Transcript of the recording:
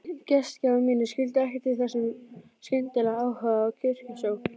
Gestgjafar mínir skildu ekkert í þessum skyndilega áhuga á kirkjusókn.